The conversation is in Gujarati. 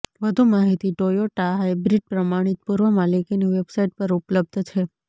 વધુ માહિતી ટોયોટા હાઇબ્રિડ પ્રમાણિત પૂર્વ માલિકીની વેબસાઇટ પર ઉપલબ્ધ છે